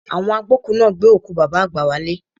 Àwọn agbókùú náà gbé òkú Bàbá àgbà wálé